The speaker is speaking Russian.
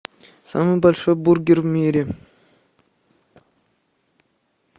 самый большой бургер в мире